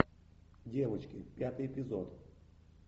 девочки пятый эпизод